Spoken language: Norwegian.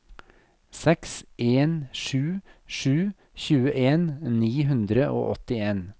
seks en sju sju tjueen ni hundre og åttien